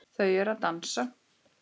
Þau eru að dansa